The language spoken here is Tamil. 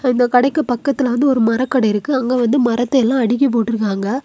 இந்த கடைக்கு பக்கத்துல வந்து ஒரு மரக்கடை இருக்கு அங்க வந்து மரத்தையெல்லாம் அடுக்கி போட்ருக்காங்க.